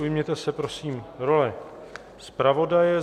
Ujměte se prosím role zpravodaje.